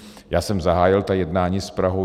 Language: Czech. Já jsem zahájil ta jednání s Prahou.